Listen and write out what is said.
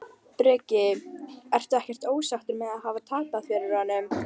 Breki: Ertu ekkert ósáttur með að hafa tapað fyrir honum?